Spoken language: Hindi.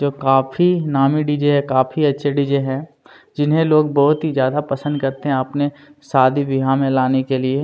जो काफी नामी डी. जे है काफी अच्छे डी. जे है जिन्हैं लोग बहुत ही ज्यादा पसंद करते है अपने शादी विआह में लाने के लिए --